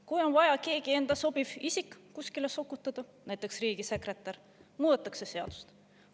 Kui on vaja keegi endale sobiv isik kuskile sokutada, näiteks riigisekretäriks, muudetakse seadust.